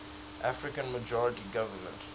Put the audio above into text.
african majority government